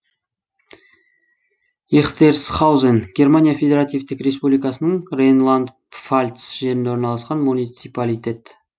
эхтерсхаузен германия федеративтік республикасының рейнланд пфальц жерінде орналасқан муниципалитет